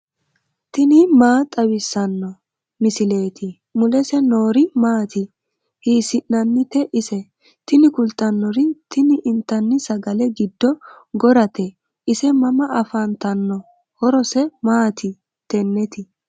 tini maa xawissanno misileeti ? mulese noori maati ? hiissinannite ise ? tini kultannori tini intanni sagale giddo gorate ise mama afantanno horoseno maati tenneti